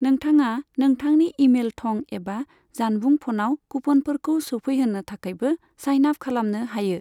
नोंथाङा नोंथांनि इमेल थं एबा जानबुं फनाव कुफनफोरखौ सौफैहोनो थाखायबो साइन आप खालामनो हायो।